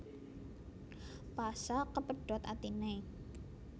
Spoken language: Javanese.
Pasha kepedhot atine